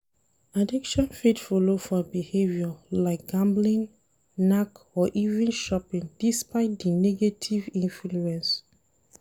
Addiction fit follow for behaviour like gambling, knack or even shopping despite di negative influence